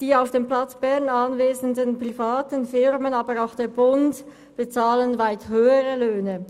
Die auf dem Platz Bern anwesenden privaten Firmen und auch der Bund bezahlen weit höhere Löhne.